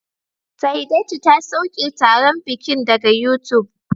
Saidatu ta sauke taron bikin daga YouTube